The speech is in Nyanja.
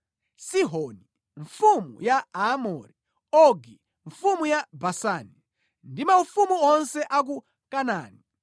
Sihoni mfumu ya Aamori, Ogi mfumu ya Basani, ndi maufumu onse a ku Kanaani;